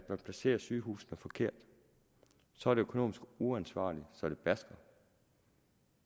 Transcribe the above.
man placerer sygehusene forkert så er det økonomisk uansvarligt så det basker